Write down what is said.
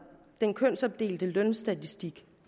den kønsopdelte lønstatistik